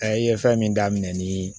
ye fɛn min daminɛ ni